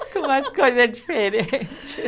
como a coisa é diferente.